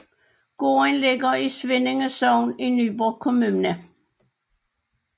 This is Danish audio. Gården ligger i Svindinge Sogn i Nyborg Kommune